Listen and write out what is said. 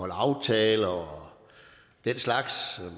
at holde aftaler og den slags